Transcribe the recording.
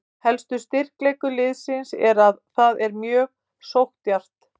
Helsti styrkleikur liðsins er að það er mjög sókndjarft.